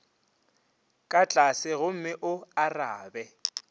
ka tlase gomme o arabe